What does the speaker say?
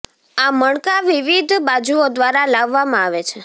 આ મણકા વિવિધ બાજુઓ દ્વારા લાવવામાં આવે છે